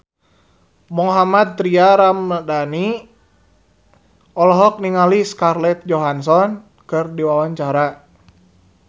Mohammad Tria Ramadhani olohok ningali Scarlett Johansson keur diwawancara